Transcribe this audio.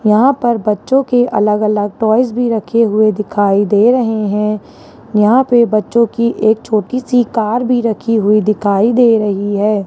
यहां पर बच्चों के अलग अलग टॉयज भी रखे हुए दिखाई दे रहे है यहां पे बच्चों की एक छोटी सी का भी रखी हुई दिखाई दे रही है।